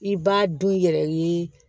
I b'a du i yɛrɛ ye